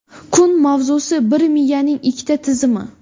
Kun mavzusi: - Bir miyaning ikkita tizimi.